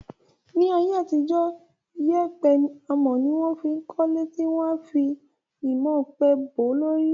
Ní ayé àtijó, yèèpẹ̀ amọ̀ ni wọ́n fí ń kọ́le tí wọ́n a fi imọ̀ ọ̀pẹ bò ó lórí